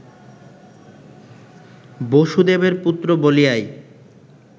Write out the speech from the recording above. বসুদেবের পুত্র বলিয়াই